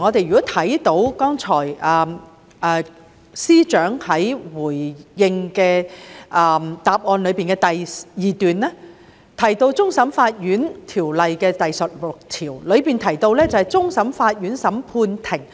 我們看到剛才司長在主體答覆的第二段提到《香港終審法院條例》第16條，其中"終審法院審判庭